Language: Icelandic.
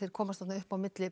komast þarna upp á milli